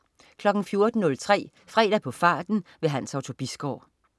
14.03 Fredag på farten. Hans Otto Bisgaard